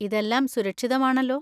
ഇതെല്ലാം സുരക്ഷിതമാണല്ലോ.